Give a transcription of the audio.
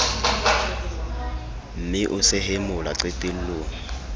mme o sehe mola qetellong